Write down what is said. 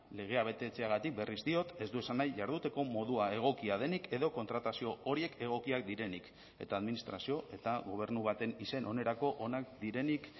legea betetzeagatik berriz diot ez du esan nahi jarduteko modua egokia denik edo kontratazio horiek egokiak direnik eta administrazio eta gobernu baten izen onerako onak direnik